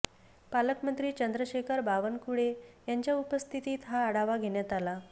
पालकमंत्री चंद्रशेखर बावनकुळे यांच्या उपस्थितीत हा आढावा घेण्यात आला